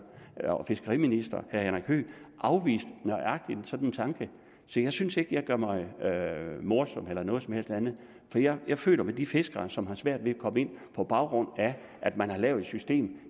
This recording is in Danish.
og fiskeriminister herre henrik høegh afviste nøjagtig sådan en tanke så jeg synes ikke jeg gør mig morsom eller noget som helst andet for jeg jeg føler med de fiskere som har svært ved at komme ind på baggrund af at man har lavet et system